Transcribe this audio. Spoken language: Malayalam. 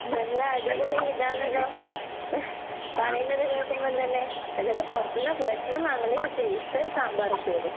നല്ല അടിപൊളി ഇതാണല്ലോ പറയുന്നത് കേക്കുമ്പോന്തന്നെ. എന്നിട്ട് പൊറത്ത്ന്നാ ഭക്ഷണം വാങ്ങല്, പക്ഷെ ഇഷ്ടം സാമ്പാറും ചോറും.